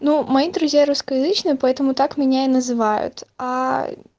ну мои друзья русскоязычные поэтому так меня и называют аа